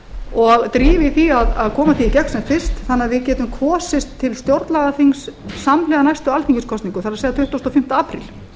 og drífa í því að koma því í gegn sem fyrst þannig að við getum kosið til stjórnlagaþings samhliða næstu alþingiskosningum það er tuttugasti og fimmta apríl